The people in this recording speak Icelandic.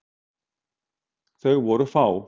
Þau voru fá.